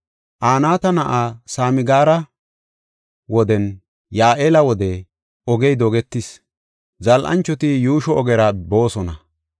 Anaata na7aa Samgaara wodenne Ya7eela wode ogey dogetis; zal7anchoti yuusho ogera boosona.